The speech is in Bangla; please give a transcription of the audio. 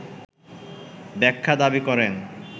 ব্যাখ্যা দাবী করেন